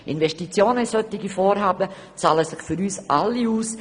Investitionen in solche Vorhaben zahlen sich für uns alle aus.